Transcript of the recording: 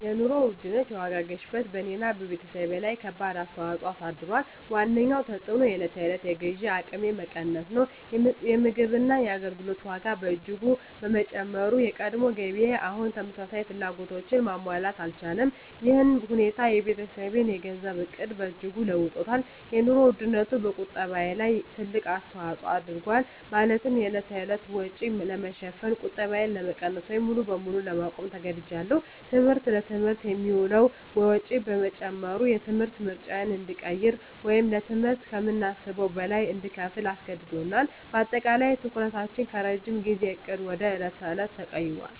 የኑሮ ውድነት (የዋጋ ግሽበት) በእኔና በቤተሰቤ ላይ ከባድ ተፅዕኖ አሳድሯል። ዋነኛው ተፅዕኖ የዕለት ተዕለት የግዢ አቅሜ መቀነስ ነው። የምግብና የአገልግሎት ዋጋ በእጅጉ በመጨመሩ፣ የቀድሞ ገቢዬ አሁን ተመሳሳይ ፍላጎቶችን ማሟላት አልቻለም። ይህ ሁኔታ የቤተሰቤን የገንዘብ ዕቅድ በእጅጉ ለውጦታል - የኑሮ ውድነቱ በቁጠባዬ ላይ ትልቅ አስተዋጽኦ አድርጓል፤ ማለትም የዕለት ተዕለት ወጪን ለመሸፈን ቁጠባዬን ለመቀነስ ወይም ሙሉ በሙሉ ለማቆም ተገድጃለሁ። ትምህርት: ለትምህርት የሚውለው ወጪ በመጨመሩ፣ የትምህርት ምርጫዎችን እንድንቀይር ወይም ለትምህርት ከምናስበው በላይ እንድንከፍል አስገድዶናል። በአጠቃላይ፣ ትኩረታችን ከረጅም ጊዜ ዕቅድ ወደ የዕለት ተዕለት ተቀይሯል።